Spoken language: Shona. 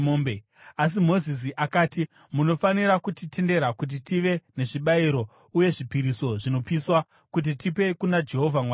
Asi Mozisi akati, “Munofanira kutitendera kuti tive nezvibayiro uye nezvipiriso zvinopiswa kuti tipe kuna Jehovha Mwari wedu.